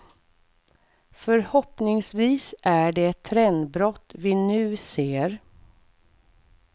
Förhoppningsvis är det ett trendbrott vi nu ser.